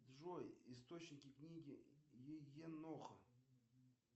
джой источники книги еноха